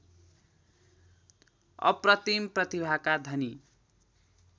अप्रतिम प्रतिभाका धनी